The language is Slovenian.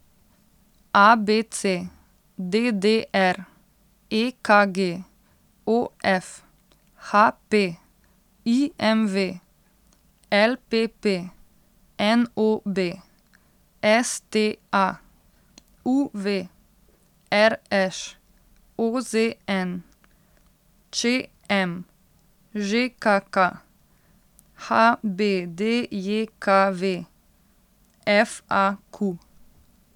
A B C; D D R; E K G; O F; H P; I M V; L P P; N O B; S T A; U V; R Š; O Z N; Č M; Ž K K; H B D J K V; F A Q.